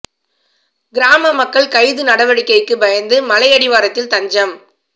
கிராம மக்கள் கைது நடவடிக்கைக்கு பயந்து மலை அடிவாரத்தில் தஞ்சம்